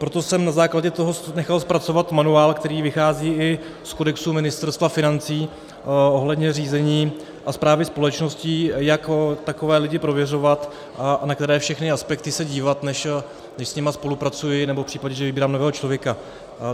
Proto jsem na základě toho nechal zpracovat manuál, který vychází i z kodexu Ministerstva financí, ohledně řízení a správy společností, jak takové lidi prověřovat a na které všechny aspekty se dívat, než s nimi spolupracuji, nebo v případě, že vybírám nového člověka.